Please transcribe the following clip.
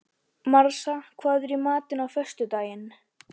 Marsa, hvað er í matinn á föstudaginn?